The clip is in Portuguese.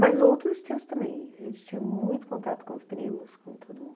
Mas outros tios também, a gente tinha muito contato com os primos, com todo mundo.